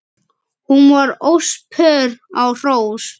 Hún var óspör á hrós.